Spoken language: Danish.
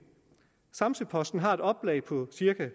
samsø posten har et oplag på cirka